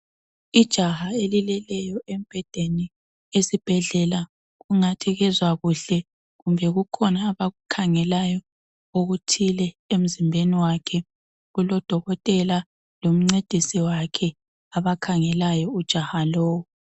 Ijaha elileleyo embhedeni esibhedlela, kungathi kezwa kuhle kumbe kukhona abakukhangelayo ukuthile emzimbeni wakhe kuloDokotela lomcedisi wakhe abakhangelayo ujaha lowu.